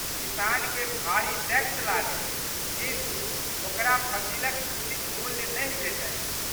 किसानके भारी टैक्स लागै किन्तु, ओकरा फसिलक उचित मूल्य नहि भेटै।